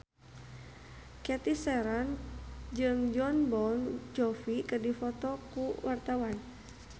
Cathy Sharon jeung Jon Bon Jovi keur dipoto ku wartawan